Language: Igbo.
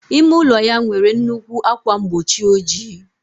Ime ụlọ ya nwere nnukwu ákwà mgbochi ojii.